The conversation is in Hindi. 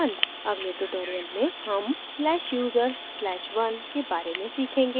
अगले tutorial में हम /user/1 के बारे में सीखेंगे